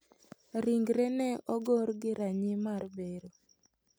Ringre ne ogor gi ranyii mar bero.